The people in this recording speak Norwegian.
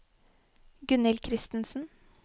Gunnhild Kristensen